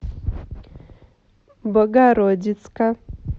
богородицка